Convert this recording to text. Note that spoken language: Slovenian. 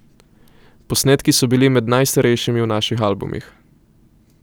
Posnetki so bili med najstarejšimi v naših albumih.